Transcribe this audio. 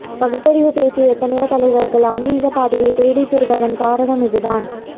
பகுத்தறிவு பேசிய எத்தனையோ தலைவர்கள் ஆன்மிகப் பாதையை தேடி திரிவதன் காரணம் இதுதான்